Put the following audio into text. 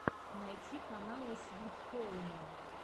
найти каналы свит хоума